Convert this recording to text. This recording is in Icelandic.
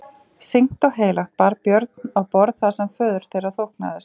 Sýknt og heilagt bar Björn á borð það sem föður þeirra þóknaðist.